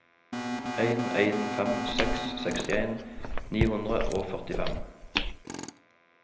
en en fem seks sekstien ni hundre og førtifem